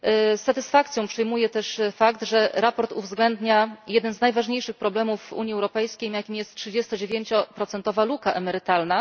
Z satysfakcją przyjmuję też fakt, że sprawozdanie uwzględnia jeden z najważniejszych problemów w Unii Europejskiej, jakim jest trzydziestodziewięcioprocentowa luka emerytalna.